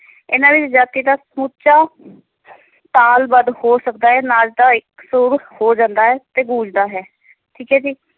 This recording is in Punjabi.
ਇਹਨਾਂ ਵਿੱਚ ਜਾਤੀ ਦਾ ਸਮੁੱਚਾ ਤਾਲ-ਬੱਧ ਹੋ ਸਕਦਾ ਹੈ, ਨੱਚਦਾ ਇਕਸਰ ਹੋ ਜਾਂਦਾ ਹੈ ਤੇ ਗੂੰਜਦਾ ਹੈ ਠੀਕ ਹੈ ਜੀ।